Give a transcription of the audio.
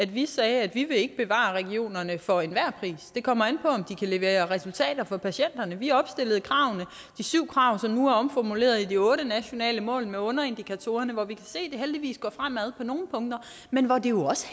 vi sagde at vi ikke vil bevare regionerne for enhver pris det kommer an på om de kan levere resultater for patienterne vi opstillede de syv krav som nu er omformuleret til de otte nationale mål med underindikatorerne hvor vi kan se at det heldigvis går fremad på nogle punkter men hvor det jo også